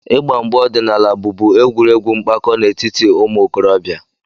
Igba mgba ọdịnala bụbu egwuregwu mpako n'etiti ụmụ okorobịa.